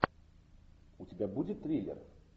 у тебя будет триллер